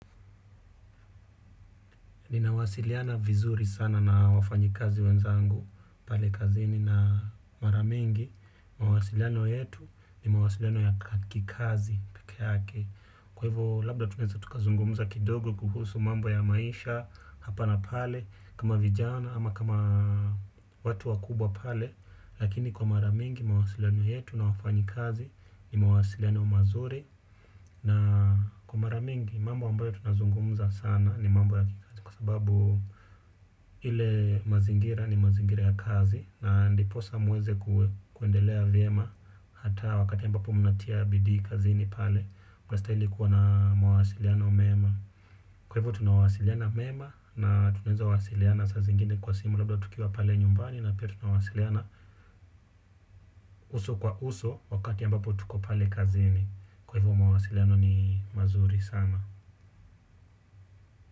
Ninawasiliana vizuri sana na wafanyikazi wenzangu pale kazini na mara mingi, mawasiliano yetu ni mawasiliano ya kikazi peke yake. Kwa hivo labda tunaeza tukazungumuza kidogo kuhusu mambo ya maisha hapa na pale kama vijana ama kama watu wakubwa pale. Lakini kwa mara mingi mawasiliano yetu na wafanyikazi ni mawasiliano mazuri. Na kwa mara mingi mambo ambayo tunazungumza sana ni mambo ya kikazi kwa sababu ile mazingira ni mazingira ya kazi na ndiposa muweze kuendelea vyema. Hata wakati ambapo mnatia bidii kazini pale, mnastahili kuwa na mawasiliano mema. Kwa hivo tunawasiliana mema na tunaezawasiliana saa zingine kwa simu labda tukiwa pale nyumbani na pia tunawasiliana. Uso kwa uso wakati ambapo tuko pale kazini. Kwa hivo mawasiliano ni mazuri sana.